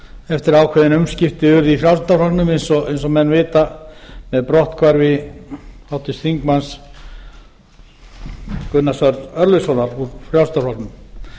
eftir að ákveðin umskipti urðu í frjálslynda flokksins eins og menn vita með brotthvarfi háttvirtur þingmaður gunnars arnar örlygssonar úr frjálslynda flokknum sem gekk til